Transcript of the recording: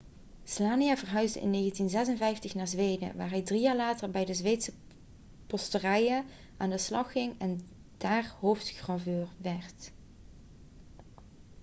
słania verhuisde in 1956 naar zweden waar hij drie jaar later bij de zweedse posterijen aan de slag ging en daar hoofdgraveur werd